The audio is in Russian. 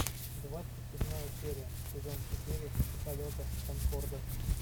двадцать седьмая серия сезон четыре полета конкорда